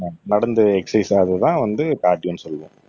நடந்து எக்ஸர்சைஸ் அதுதான் வந்து கார்டியோன்னு சொல்லுவேன்